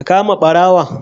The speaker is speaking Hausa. Ka kama barawon